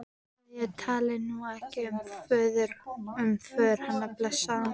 að ég tali nú ekki um föður hennar, blessaðan.